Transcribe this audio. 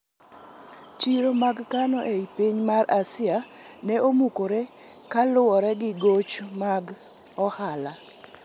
Chiro mag kano ei piny Asia ne omukore kaa luwore gi goch mag ohala